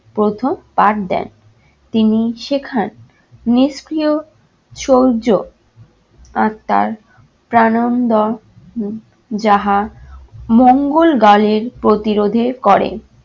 প্রথম পাঠ দেন। তিনি শেখান নিষ্ক্রিয় সৌর্য আত্মার প্রানন্দন উম যাহা মঙ্গলদলের প্রতিরোধে করে।